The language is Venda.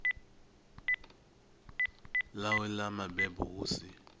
ḽawe ḽa mabebo hu si